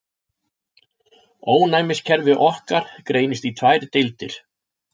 Ónæmiskerfi okkar greinist í tvær deildir.